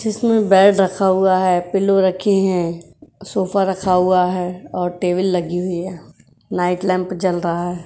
जिसमें बेड रखा हुआ है पीलो रखे हैं सोफा रखा हुआ है और टेबल लगी हुई है| नाइट लैम्प जल रहा है।